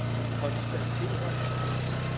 konstatere